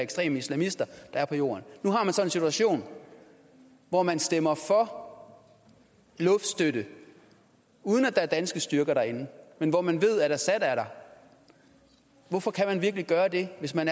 ekstreme islamister der er på jorden nu har man så en situation hvor man stemmer for luftstøtte uden at der er danske styrker derinde men hvor man ved at assad er der hvorfor kan man gøre det hvis man